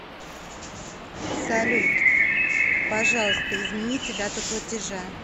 салют пожалуйста измените дату платежа